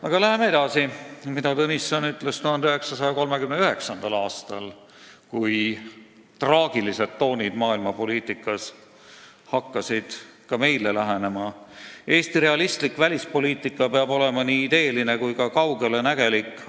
Aga läheme edasi sellega, mida Tõnisson ütles 1939. aastal, kui traagilised toonid maailmapoliitikas hakkasid ka meile lähenema: "Eesti realistlik välispoliitika peab olema nii ideeline kui ka kaugelenägelik.